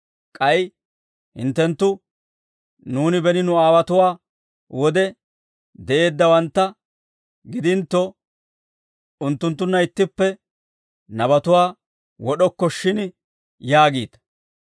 K'ay hinttenttu, ‹Nuuni beni nu aawotuwaa wode de'eeddawantta gidintto, unttunttunna ittippe nabatuwaa wod'okko shin› yaagiita.